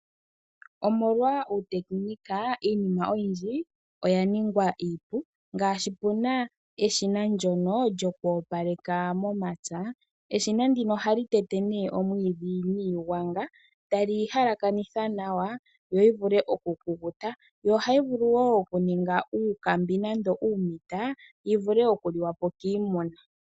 Omolwa uuteknika iinima oyindji oya ningwa iipu ngaashi puna eshina lyono lyoku opaleka momapya, eshina ndino ohali tete nee omwiidhi niigwanga tali yi halakanitha nawa yo yi vule oku kukuta, yo ohayi vulu woo okuninga uukambi nenge uumuta yi vule okuliwa po kiimuna.